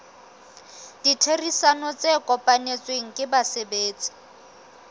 ditherisano tse kopanetsweng ke basebetsi